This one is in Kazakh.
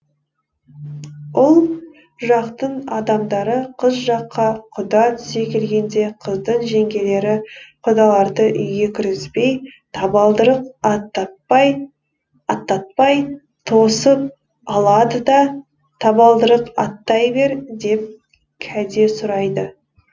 ұл жақтың адамдары қыз жаққа құда түсе келгенде қыздың жеңгелері құдаларды үйге кіргізбей табалдырық аттатпай тосып алады да табалдырық аттай бер деп кәде сұрайды